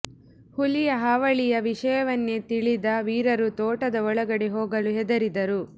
ಹುಲಿಯ ಹಾವಳಿಯ ವಿಷಯವನ್ನೇ ತಿಲಿದ ವೀರರು ತೋಟದ ಒಳಗಡೆಗೆ ಹೋಗಲು ಹೆದರಿದರು